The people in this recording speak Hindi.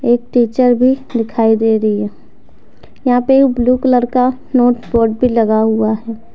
एक टीचर भी दिखाई दे रही है यहां पे ब्लू कलर का नोट बोर्ड भी लगा हुआ है।